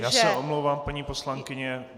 Já se omlouvám, paní poslankyně.